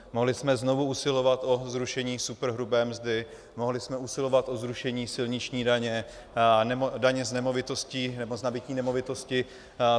Mohli jsme znovu usilovat o zrušení superhrubé mzdy, mohli jsme usilovat o zrušení silniční daně, daně z nemovitosti nebo z nabytí nemovitosti.